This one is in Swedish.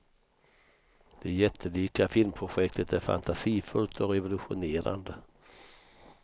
Det jättelika filmprojektet är fantasifullt och revolutionerande.